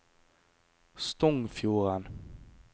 Stongfjorden